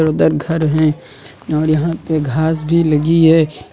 उधर घर है और यहां पे घास भी लगी है।